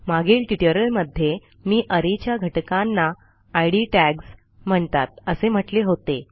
मागील ट्युटोरियलमध्ये मी arrayच्या घटकांना इद टॅग्स म्हणतात असे म्हटले होते